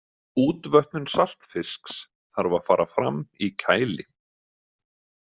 Útvötnun saltfisks þarf að fara fram í kæli.